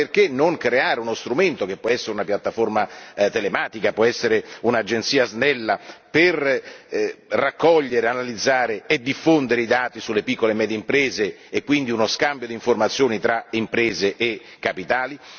Allora perché non creare uno strumento, che può essere una piattaforma telematica, può essere un'agenzia snella, per raccogliere, analizzare e diffondere i dati sulle piccole e medie imprese e quindi uno scambio di informazioni tra imprese e capitali?